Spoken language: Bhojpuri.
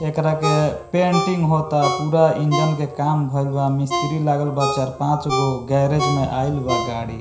एकरा के पेंटिंग होता पूरा इंजन के काम भईल बा मिस्त्री लागल बा चार-पांचगो गैरेज में आईल बा गाड़ी।